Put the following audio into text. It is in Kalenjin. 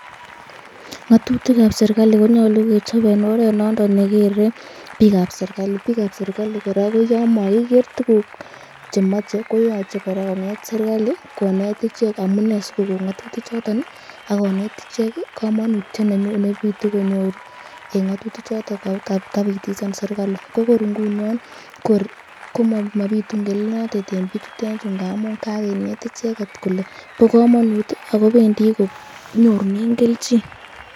Ng'otutikab serikali konyolu kechob en oret noton nekere biikab serikali, biikab serikali kora koyon mokiker tukuk chemoche koyoche kora koker serikali konet ichek amunee sikoko ng'otutichoton ak koneet icheket komonutiet nebitu konyoru en ng'otuti choton kabitisan serikali, ko kor ing'unon kor komobitu ng'elelnotet en bichutet chuu ng'amun kakinet icheket kelee bo komonut ak kobendi konyorunen kelchin.